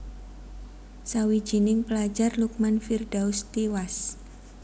Sawijining pelajar Lukman Firdaus tiwas